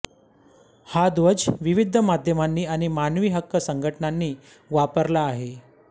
हा ध्वज विविध माध्यमांनी आणि मानवी हक्क संघटनांनी वापरला आहे